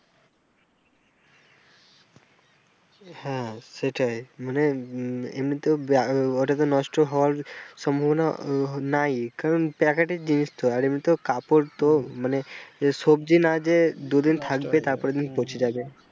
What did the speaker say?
হ্যাঁ সেটাই মানে এমনিতেও ওটাতে নষ্ট হওয়ার সম্ভাবনা নাই কারন packet এর জিনিস তো আর এমনিতেও কাপড় তো মানে সবজি না যে দুদিন থাকবে তার পরের দিন পচে যাবে।